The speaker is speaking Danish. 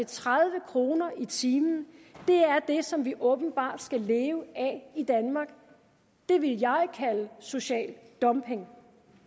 tredive kroner i timen er det som vi åbenbart skal leve af i danmark det vil jeg kalde social dumping